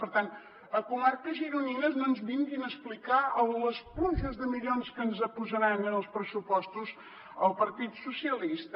per tant a comarques gironines no ens vinguin a explicar les pluges de milions que ens posaran en els pressupostos el partit socialista